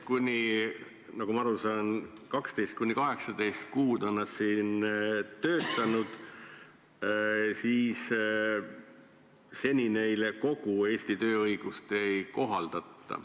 Nagu ma aru saan, kui nad 12–18 kuud on siin töötanud, siis seni neile kogu Eesti tööõigust ei kohaldata.